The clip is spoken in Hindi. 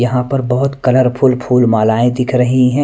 यहां पर बहुत कलरफुल फूल मालाएं दिख रही हैं।